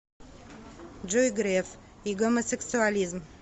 джой греф и гомосексуализм